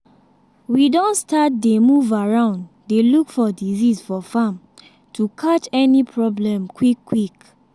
we don start dey move around dey look for disease for farm to catch any problem quick-quick.